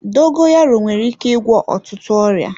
Dogoyaro nwere ike ịgwọ ọtụtụ ọrịa.